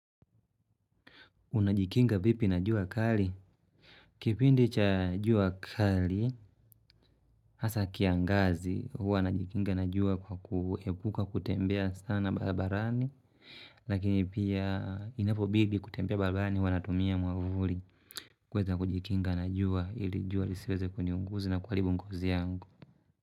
Unajikinga vipi na jua kali? Kipindi cha jua kali, hasa kiangazi, hua najikinga na jua kwa kuepuka kutembea sana babarani. Lakini pia inapobidi kutembea barabarani, hua natumia mwavuli. Kuweza kujikinga na jua, ili jua lisiweze kuniunguza na kuaribu ngozi yangu.